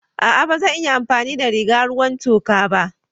A'a ba zan iya amfani da rigar ruwan toka ba.